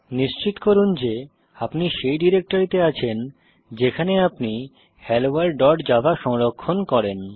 নিশ্চিত করুন যে আপনি সেই ডিরেক্টরিতে আছেন যেখানে আপনি helloworldজাভা সংরক্ষণ করেন